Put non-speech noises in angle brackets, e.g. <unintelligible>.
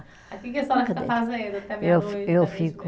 Aí que que a senhora fica fazendo até meia-noite. <unintelligible> Eu fico